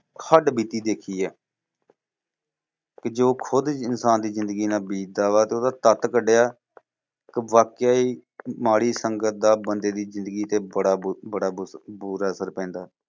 ਹੱਡਬੀਤੀ ਦੇਖੀ ਆ। ਕਿ ਜੋ ਖੁੱਦ ਇਨਸਾਨ ਦੀ ਜ਼ਿੰਦਗੀ ਨਾਲ ਬੀਤਦਾ ਵਾ ਤੇ ਓਹਦਾ ਤੱਤ ਕਢਿਆ ਕਿ ਵਾਕਿਆ ਹੀ ਮਾੜੀ ਸੰਗਤ ਦਾ ਬੰਦੇ ਦੀ ਜ਼ਿੰਦਗੀ ਤੇ ਬੜਾ ਬੁ ਬੜਾ ਬੁ ਬੂਰਾ ਅਸਰ ਪੈਂਦਾ।